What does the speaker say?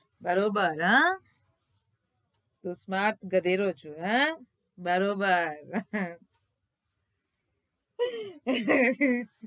બરોબર હા તું smart છું હમ બરોબર